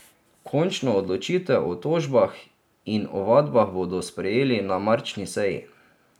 Končno odločitev o tožbah in ovadbah bodo sprejeli na marčni seji.